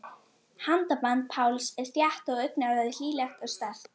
Handaband Páls er þétt og augnaráðið hlýlegt og sterkt.